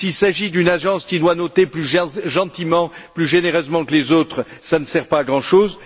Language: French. S'il s'agit d'une agence qui doit noter plus gentiment, plus généreusement que les autres, cela ne sert pas à grand chose.